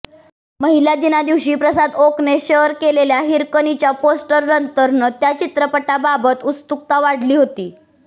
महिला दिना दिवशी प्रसाद ओकने शेअर केलेल्या हिरकणीच्या पोस्टरनंतर त्या चित्रपटाबाबत उत्सुकता वाढली होती